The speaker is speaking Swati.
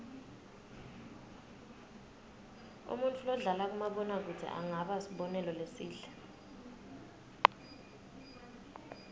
umuntfu lodlala kumabona kudze angaba sibonelo lesihle